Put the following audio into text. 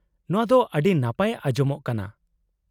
-ᱱᱚᱶᱟ ᱫᱚ ᱟᱹᱰᱤ ᱱᱟᱯᱟᱭ ᱟᱸᱡᱚᱢᱚᱜ ᱠᱟᱱᱟ ᱾